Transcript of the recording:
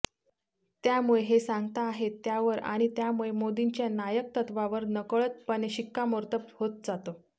त्यामुळे हे सांगताहेत त्यावर आणि त्यामुळे मोदींच्या नायकत्वावर नकळतपणे शिक्कामोर्तब होत जातं